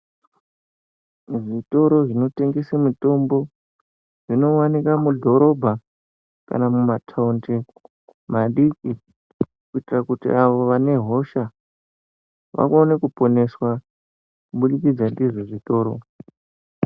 Muzvitoro zvinotengese mitombo inowanikwa mudhorobha kana mumatonde madiki kuitira kuti avo vanehosha vaone kuponeswa murimbidzo ndizvo zvitoro.